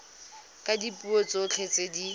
ka dipuo tsotlhe tse di